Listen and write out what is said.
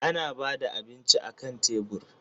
Ana ba da abinci akan tebur.